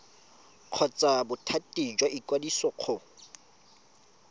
kgotsa bothati jwa ikwadiso go